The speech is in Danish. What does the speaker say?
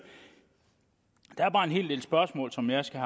der er bare en hel del spørgsmål som jeg skal